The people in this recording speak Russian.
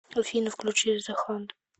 афина включи зе хант